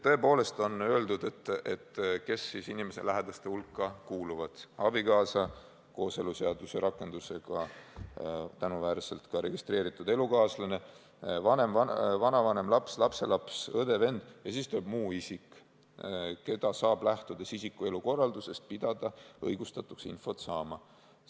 Siin on öeldud, kes inimese lähedaste hulka kuuluvad: abikaasa, kooseluseaduse rakendusega tänuväärselt ka registreeritud elukaaslane, vanavanem, laps, lapselaps, õde, vend ja siis tuleb "muu isik, keda saab, lähtudes isiku elukorraldusest, pidada õigustatuks infot saama".